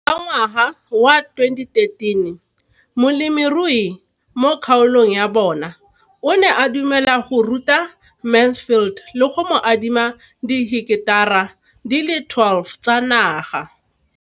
Ka ngwaga wa 2013, molemirui mo kgaolong ya bona o ne a dumela go ruta Mansfield le go mo adima di heketara di le 12 tsa naga.